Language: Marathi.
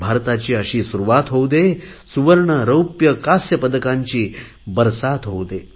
भारताची अशी सुरुवात होऊ दे सुवर्ण रौप्य कास्य पदकांची बरसात होऊ दे